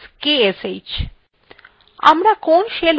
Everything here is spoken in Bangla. আমরা কোন shell ব্যবহার করছি to দেখার জন্য